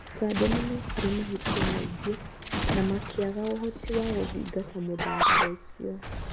Ũganda nĩ mekire mahĩtia maingĩ na makĩaga ũhoti wa kũthingata mũthako ũcio.